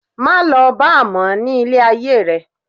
Má lọ bar mọ ní ilé ayé rẹ.